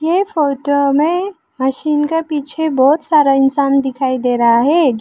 ये फोटो में मशीन के पीछे बहुत सारा इंसान दिखाई दे रहा है।